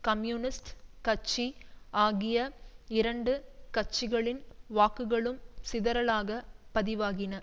communist கட்சி ஆகிய இரண்டு கட்சிகளின் வாக்குகளும் சிதறலாக பதிவாகின